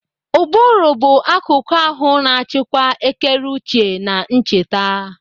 Ụbụrụ bụ akuku ahụ na-achịkwa ekereuche na ncheta.